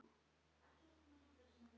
Þið gætuð þurft tvær plötur.